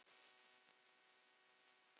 Þetta eru mjög sláandi tölur.